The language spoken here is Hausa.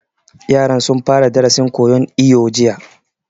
Yaran sun fara darasin koyan iwo jiya